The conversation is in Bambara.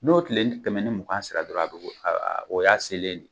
N'o tileni kɛmɛ ni mugan sera dɔrɔn, a bɛ o a o y'a selen ne